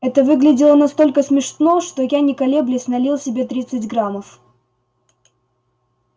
это выглядело настолько смешно что я не колеблясь налил себе тридцать граммов